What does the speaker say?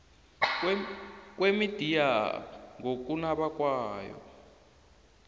kwemidiya ngokunaba kwayo